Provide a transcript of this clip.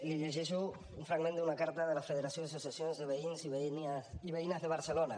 li llegeixo un fragment d’una carta de la federació d’associacions de veïns i veïnes de barcelona